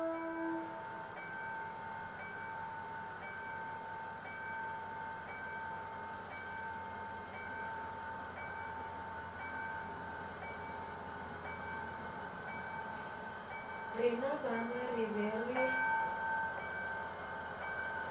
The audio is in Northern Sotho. rena bana re be re